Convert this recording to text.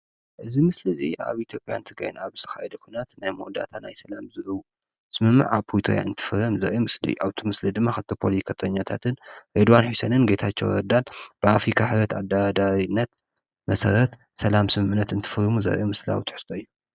እዚ ምስሊ እዚ ኣብ ኢትዮጵያን ትግራይን ኣብ ዝተካየደ ኩናት ናይ መወዳእታ ናይ ፅንተት ኣብ ዝከደላ ምስምምዕ ፕሪክቶርያ እንትፍረም ዘርኢ ምስሊ እዩ፡፡ እቲ ምስሊ ድማ ክልተ ፖለቲከኛታትን ሬድዋን ሕሴንን ጌታቸው ረዳን ብኣፍሪካ ሕብረት ኣዳራዳሪነት መሰረት ሰላም ስምምዕነትን እንትፍርሙ ዘርኢ ምስላዊ ትሕዝቶ እዩ፡፡